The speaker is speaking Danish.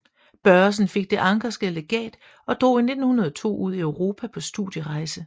Børresen fik Det anckerske Legat og drog i 1902 ud i Europa på studierejse